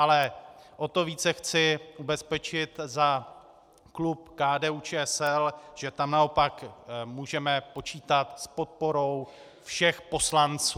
Ale o to více chci ubezpečit za klub KDU-ČSL, že tam naopak můžeme počítat s podporou všech poslanců.